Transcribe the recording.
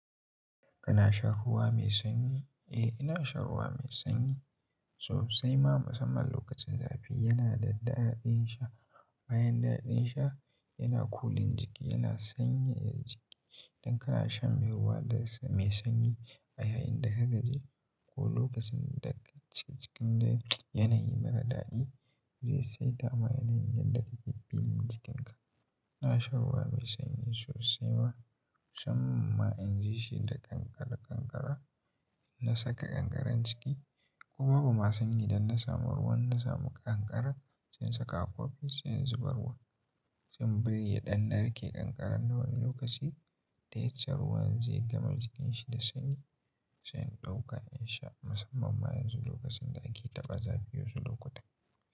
Kana shan ruwa mai sanyi? Eh, ina shan ruwa mai sanyi sosai ma musamman lokacin zafi. Yana da daɗaɗin sha. Bayan daɗin sha yana kulin jiki, yana sanyaya jiki. Dan kana shan ruwa mai sanyi a yayin da ka gaje ko lokacin da cikin yanayi mara daɗi, zai sa itama yanayin da ka ke bi nin jikinka. Ina shan ruwa mai sanyi sosai ma, sam ma in ji shi da kankare-kankare. In na saka kankaren jiki ko babu ma sanyi, dan na samu ruwan, na samu kankara zan saka a kofi, zan zuba ruwa. Zan birye ɗanɗare ke kankaren na wani lokaci, ta yatsa ruwan zai gama jikin shi da sanyi, zan ɗauka in sha musamman ma yanzu lokacin da ake taɓa zafi yozu lokutan.